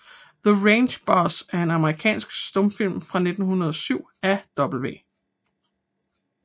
The Range Boss er en amerikansk stumfilm fra 1917 af W